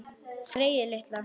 Greyið litla!